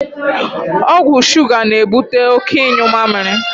Ọgwụ shuga na ebute oké ịnyu mamịrị